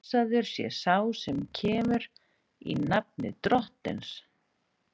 Blessaður sé sá sem kemur, í nafni Drottins!